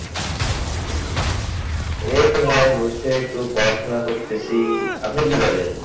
এইতো ভাই বসে একটু পড়াশোনা করতেছি, আপনি কি করেন?